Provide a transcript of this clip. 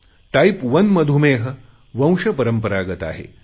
type 1 मधुमेह वंशपरंपरागत आहे